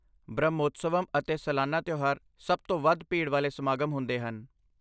ਬ੍ਰਹਮੋਤਸਵਮ ਅਤੇ ਸਾਲਾਨਾ ਤਿਉਹਾਰ ਸਭ ਤੋਂ ਵੱਧ ਭੀੜ ਵਾਲੇ ਸਮਾਗਮ ਹੁੰਦੇ ਹਨ।